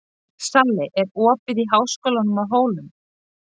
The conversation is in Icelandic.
Salli, er opið í Háskólanum á Hólum?